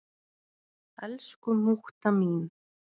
Elsku mútta mín.